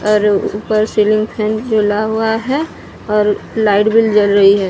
अर ऊपर ceiling fan जुला हुआ है और लाइट बिल जल रही है।